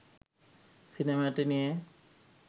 সিনেমাটি নিয়ে